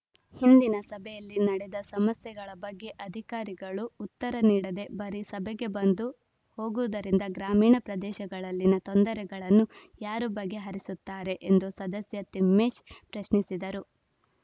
ಹಿಂದಿನ ಸಭೆಯಲ್ಲಿ ನಡೆದ ಸಮಸ್ಯೆಗಳ ಬಗ್ಗೆ ಅಧಿಕಾರಿಗಳು ಉತ್ತರ ನೀಡದೆ ಬರೀ ಸಭೆಗೆ ಬಂದು ಹೋಗುವುದರಿಂದ ಗ್ರಾಮಿಣ ಪ್ರದೇಶಗಳಲ್ಲಿನ ತೊಂದರೆಗಳನ್ನು ಯಾರು ಬಗೆಹರಿಸುತ್ತಾರೆ ಎಂದು ಸದಸ್ಯ ತಿಮ್ಮೇಶ್‌ ಪ್ರಶ್ನಿಸಿದರು